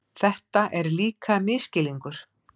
Þetta er líka misskilningur.